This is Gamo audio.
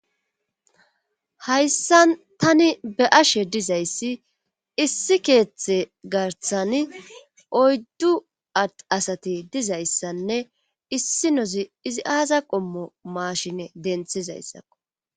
hayssa tani be'ashe dizayssi issi keeththe garsan oyddu ad asati dizayssanne issi nozi izi aaza qommo maashine denthizayssakko